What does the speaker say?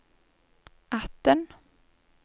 atten